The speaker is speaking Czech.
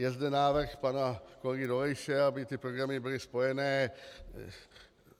Je zde návrh pana kolegy Dolejše, aby ty programy byly spojené.